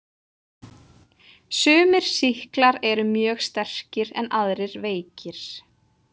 Sumir sýklar eru mjög sterkir en aðrir veikir.